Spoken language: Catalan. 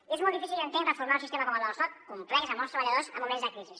i és molt difícil jo entenc reformar un sistema com el del soc complex amb molts treballadors en moments de crisi